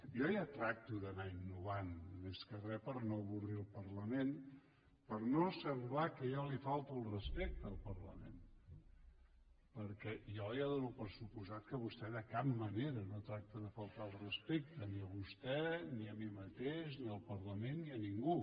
jo ja tracto d’anar innovant més que re per no avorrir el parlament per no semblar que jo li falto al respecte al parlament perquè jo ja dono per descomptat que vostè de cap manera no tracta de faltar al respecte ni a vostè ni a mi mateix ni al parlament ni a ningú